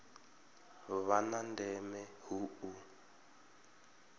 vha na ndeme hu u